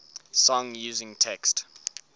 song using text